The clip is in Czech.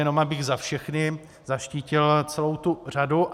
Jenom abych za všechny zaštítil celou tu řadu.